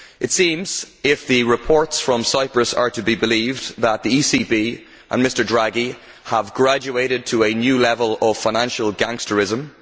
It seems, if the reports from Cyprus are to be believed, that the ECB and Mr Draghi have graduated to a new level of financial gangsterism.